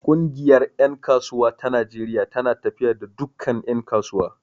Ƙungiyar ƴan kasuwa ta Najeriya tana tafiya da dukkan ƴan kasuwa.